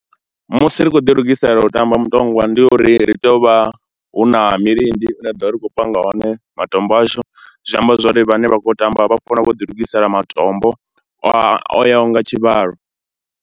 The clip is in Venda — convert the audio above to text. Musi ri tshi khou ḓilugisela u tamba mutongwa ndi uri ri tea u vha hu na milindi ine ra ḓo vha ri khou panga hone matombo ashu, zwi amba zwo ri vhane vha khou tamba vha fanela u vha ḓilugisela matombo o yaho nga tshivhalo.